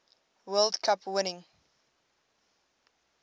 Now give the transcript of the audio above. world cup winning